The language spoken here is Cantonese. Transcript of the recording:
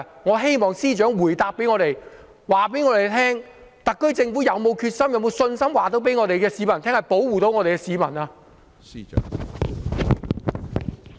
我希望司長在回答時告訴我們，特區政府是否有決心、是否有信心告訴市民政府能夠保護市民？